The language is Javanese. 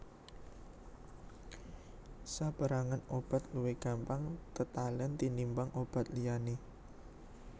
Saperangan obat luwih gampang tetalen tinimbang obat liyane